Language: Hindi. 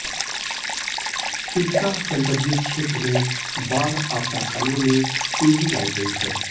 सिरसा संसदीय क्षेत्र में बाढ़ आपदा कार्यों में तेजी लाई गई है